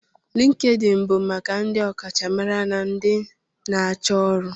LinkedIn bụ maka ndị ọkachamara na ndị na-achọ ọrụ.